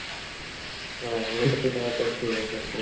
ହଁ ଗୋଟେ ଦିଟା hotel ଥିବ ସେମିତି